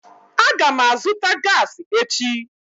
Aga m azụta gaasi echi